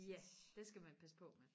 ja det skal man passe på med